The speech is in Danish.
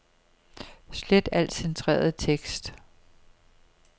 Slet al centreret tekst.